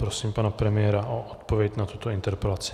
Prosím pana premiéra o odpověď na tuto interpelaci.